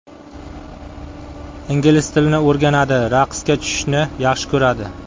Ingliz tilini o‘rganadi, raqsga tushishni yaxshi ko‘radi.